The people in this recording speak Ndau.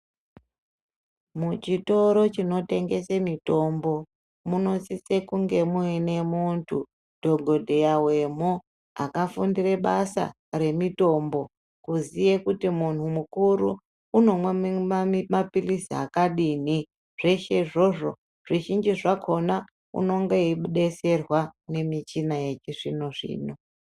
Muchitoro chinotengese mitombo munosise kunge muine muntu, Dhokodheya wemo akafundire basa remitombo, kuziye kuti munhu mukuru unomwa mapilizi akadini. Zveshe izvozvo zvizhinji zvakhona unonga eidetserwa ngemichina yechizvinozvino